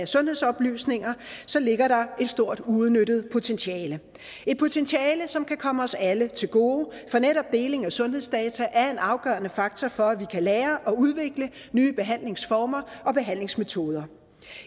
sundhedsoplysninger ligger der et stort uudnyttet potentiale et potentiale som kan komme os alle til gode for netop deling af sundhedsdata er en afgørende faktor for at vi kan lære og udvikle nye behandlingsformer og behandlingsmetoder